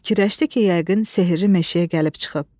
Fikirləşdi ki, yəqin sehirli meşəyə gəlib çıxıb.